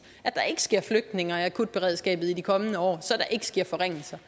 at der ikke sker flytninger af akutberedskabet i de kommende år så der ikke sker forringelser